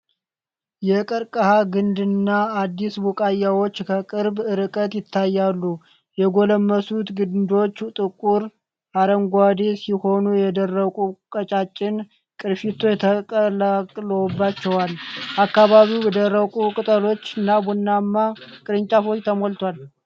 የቀርከሃ ግንድና አዲስ ቡቃያዎች ከቅርብ ርቀት ይታያሉ። የጎለመሱት ግንዶች ጥቁር አረንጓዴ ሲሆኑ የደረቁ ቀጫጭን ቅርፊቶች ተጠቅልለውባቸዋል። አካባቢው በደረቁ ቅጠሎችና ቡናማ ቅርንጫፎች ተሞልቷል።